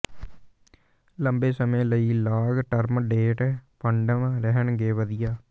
ਲੰਬੇ ਸਮੇਂ ਲਈ ਲਾਂਗ ਟਰਮ ਡੇਟ ਫੰਡਸ ਰਹਿਣਗੇ ਵਧੀਆ